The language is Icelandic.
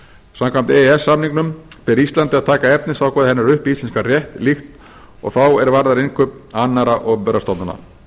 samkvæmt e e s samningnum ber íslandi að taka efnisákvæði hennar upp í íslenskan rétt líkt og þá er varðar innkaup annarra opinberra stofnana